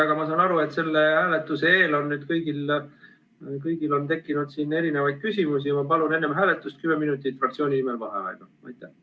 Aga ma saan aru, et selle hääletuse eel on kõigil tekkinud mitmesuguseid küsimusi, ja ma palun fraktsiooni nimel enne hääletust kümme minutit vaheaega.